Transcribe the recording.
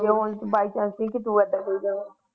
ਜੇ ਉਹ ਨ ਉਹਦੇ ਤੁਸੀ ਬਾਈ ਚਾਂਸ ਤੁਸੀ